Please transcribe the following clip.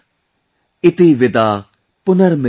Iti Vidaa punarmilanaay